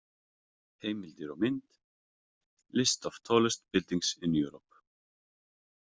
Heimildir og mynd List of tallest buildings in Europe.